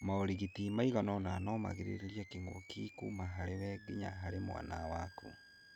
Maũrigiti maiganona no magirĩrĩrie kĩngũkĩ kũma harĩ we ginya harĩ mwana waku.